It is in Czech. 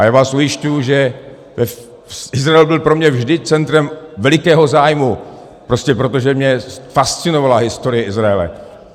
A já vás ujišťuji, že Izrael byl pro mě vždy centrem velikého zájmu prostě proto, že mě fascinovala historie Izraele.